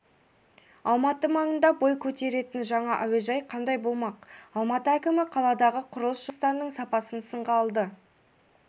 алматы маңында бой көтеретін жаңа әуежай қандай болмақ алматы әкімі қаладағы құрылыс жұмыстарының сапасын сынға алды